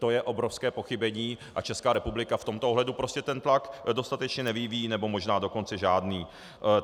To je obrovské pochybení a Česká republika v tomto ohledu prostě ten tlak dostatečně nevyvíjí, nebo možná dokonce žádný.